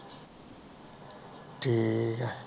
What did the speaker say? ਠੀਕ ਹੈ